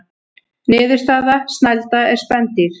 Niðurstaða: Snælda er spendýr.